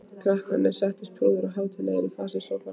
Krakkarnir settust prúðir og hátíðlegir í fasi í sófann.